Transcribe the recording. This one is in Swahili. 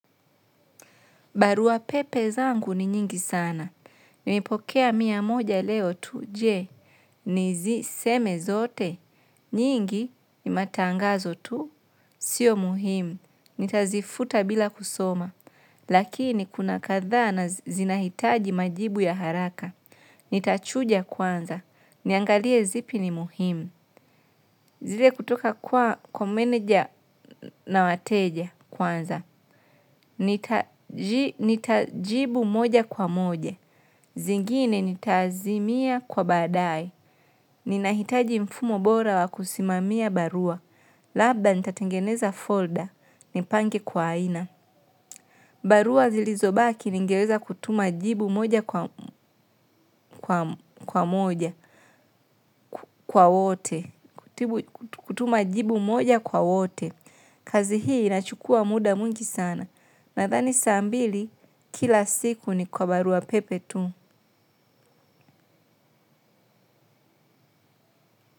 Barua pepe zangu ni nyingi sana. Nimepokea mia moja leo tu. Je, nizisome zote? Nyingi ni matangazo tu, sio muhimu. Nitazifuta bila kusoma. Lakini kuna kadhaa zinahitaji majibu ya haraka. Nitachuja kwanza. Niangalie zipi ni muhimu. Zile kutoka kwa, kwa meneja na wateja kwanza. Nitajibu moja kwa moja. Zingine nitaazimia kwa badaaye. Ninahitaji mfumo bora wa kusimamia barua. Labda nitatengeneza folder nipange kwa aina. Barua zilizobaki ningeweza kutuma jibu moja kwa moja kwa wote. Kutuma jibu moja kwa wote. Kazi hii inachukua muda mwingi sana. Nadhani saa mbili kila siku ni kwa barua pepe tu.